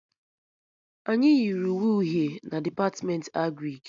Anyị yiri uwe uhie na Depatmentị Agrịk